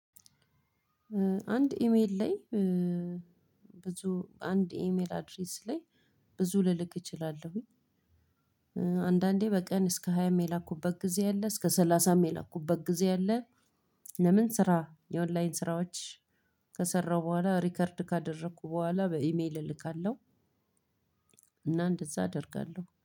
አንድ ኢሜይል ላይ ብዙ አንድ የኢሜይል ኣድሬስ ላይ ብዙ ልልክ እችላለው። አንዳንዴ በቀን እስከ ሃያም የላኩበት ጊዜ አለ እስከ ሰላሳም የላኩበት ጊዜ አለ። ለምን ስራ የኦንላይን ስራዎች ከሰራሁ በኋላ ሪከርድ ካደረኩ በኋላ በኢሜል እልካለሁ። እና እንደዛ አደርጋለሁ